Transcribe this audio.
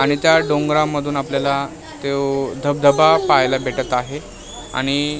आणि त्या डोंगरामधून आपल्याला त्या धबधबा पाहायला भेटत आहे आणि --